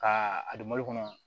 Ka a don malo kɔnɔ